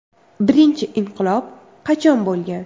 Birinchi inqilob qachon bo‘lgan?